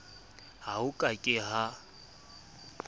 ha ho ka ke ha